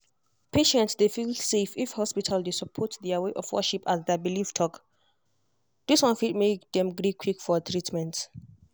patients dey feel safe if hospital dey support their way of worship as their belief talk. this one fit make make dem gree quick for treatment.